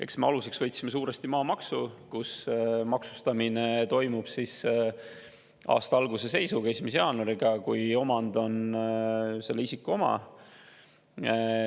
Eks me aluseks võtsime suuresti maamaksu: maksustamine toimub aasta alguse seisuga, 1. jaanuari seisuga, kui omand on selle isiku oma.